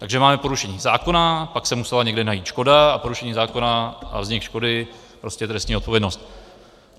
Takže máme porušení zákona, pak se musela někde najít škoda a porušení zákona a vznik škody, vlastně trestní odpovědnost.